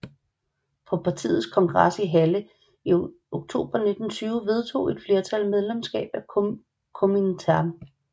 På partiets kongres i Halle i oktober 1920 vedtog et flertal medlemskab af Komintern